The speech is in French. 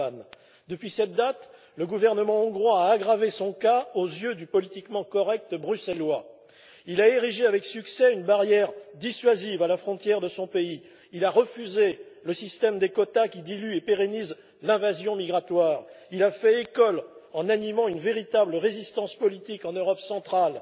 Orbán. Depuis cette date, le gouvernement hongrois a aggravé son cas aux yeux du politiquement correct bruxellois. Il a érigé avec succès une barrière dissuasive à la frontière de son pays, il a refusé le système des quotas qui dilue et pérennise l'invasion migratoire, il a fait école en animant une véritable résistance politique en Europe centrale,